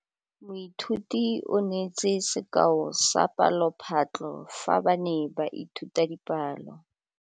Moithuti o neetse sekaô sa palophatlo fa ba ne ba ithuta dipalo.